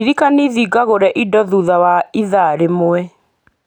ndirikania thiĩ ngagũre indo thutha wa ithaa rĩmwe